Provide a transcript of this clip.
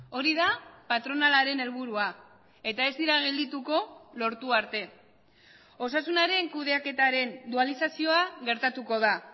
hori da patronalaren helburua eta ez dira geldituko lortu arte osasunaren kudeaketaren dualizazioa gertatuko da